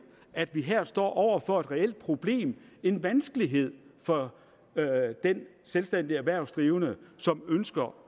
at de her står over for et reelt problem en vanskelighed for den selvstændige erhvervsdrivende som ønsker